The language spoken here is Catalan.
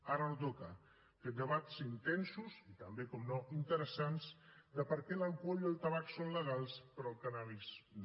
ara no toca fer debats intensos i també naturalment interessants de per què l’alcohol i el tabac són legals però el cànnabis no